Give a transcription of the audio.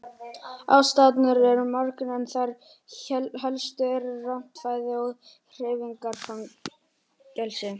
Ástæðurnar eru margar en þær helstu eru rangt fæði og hreyfingarleysi.